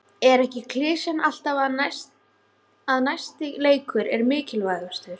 Er ekki klisjan alltaf að næsti leikur er mikilvægastur?